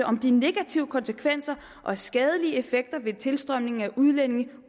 om de negative konsekvenser og skadelige effekter ved tilstrømningen af udlændinge